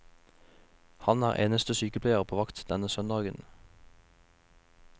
Han er eneste sykepleier på vakt denne søndagen.